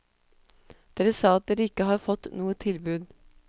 Dere sa at dere ikke har fått noe tilbud.